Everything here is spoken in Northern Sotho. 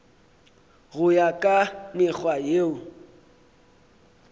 go ya ka mekgwa yeo